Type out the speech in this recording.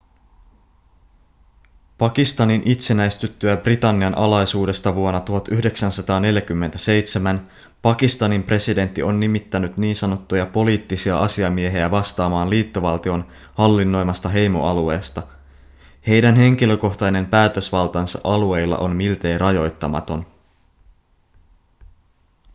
pakistanin itsenäistyttyä britannian alaisuudesta vuonna 1947 pakistanin presidentti on nimittänyt ns poliittisia asiamiehiä vastaamaan liittovaltion hallinnoimasta heimoalueesta heidän henkilökohtainen päätösvaltansa alueilla on miltei rajoittamaton